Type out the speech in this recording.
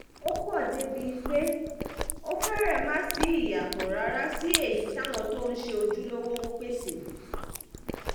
ó pọ̀ débìí pé ó fẹ́rẹ̀ má ṣí ìyàtọ̀ rárá sí èyí táwọn tó ń ṣe ojúlówó ń pèsè